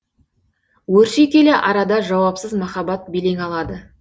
өрши келе арада жауапсыз махаббат белең алады